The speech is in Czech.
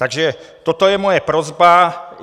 Takže toto je moje prosba.